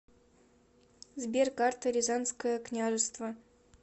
сбер карта рязанское княжество